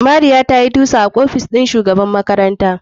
Mariya tayi tusa a ofis ɗin shugaban makaranta.